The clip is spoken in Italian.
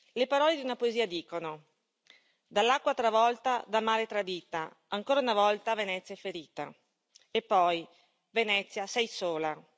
Le parole di una poesia dicono Dall'acqua travolta, dal mare tradita, ancora una volta Venezia è ferita, e poi Venezia, sei sola!.